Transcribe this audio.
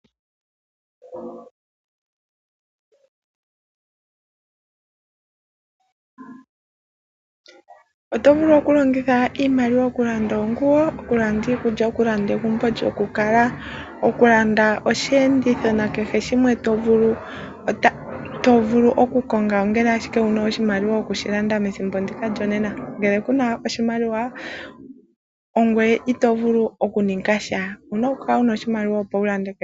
Oto vulu oku longitha iimaliwa oku landa oonguwo. Oku landa iikulya, oku landa egumbo lyoku kala. Oku landa osheenditho nakehe shimwe to vulu oku konga ongele ashike wuna oshimaliwa oku landa methimbo ndika lyonena. Ngele kuna oshimaliwa ogweye ito vulu oku ninga sha. Owuna oku kala wuna oshimaliwa opo wu lande kehe shimwe.